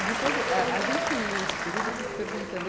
E depois, a, a gente que viveu esse período, eu fico perguntando. eu